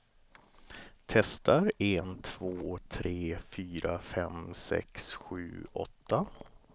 Testar en två tre fyra fem sex sju åtta.